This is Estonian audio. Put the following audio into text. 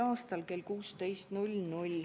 a kell 16.